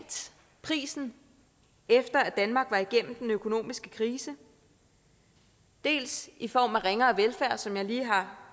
prisen efter at danmark var igennem den økonomiske krise dels i form af ringere velfærd som jeg lige har